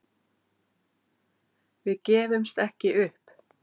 Við gefumst ekki upp